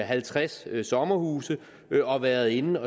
halvtreds sommerhuse og været inde